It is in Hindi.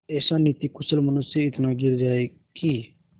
ऐसा नीतिकुशल मनुष्य इतना गिर जाए कि